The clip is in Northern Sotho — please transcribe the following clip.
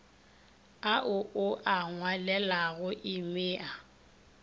ao o a ngwalelago emia